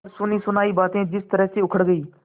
पर सुनीसुनायी बातें जिरह में उखड़ गयीं